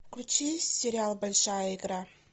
включи сериал большая игра